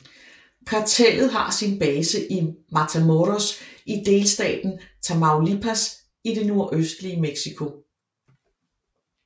Kartellet har sin base i Matamoros i delstaten Tamaulipas i det nordøstlige Mexico